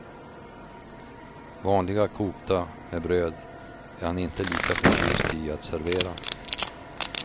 Vanliga kokta med bröd är han inte lika förtjust i att servera.